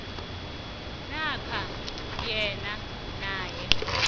namkha enye nenye